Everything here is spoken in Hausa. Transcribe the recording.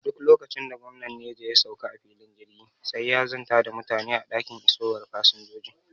Duk lokacin da gwamnan Neja ya sauka a filin jirgi, sai ya zanta da mutane a dakin isowar fasinjoji.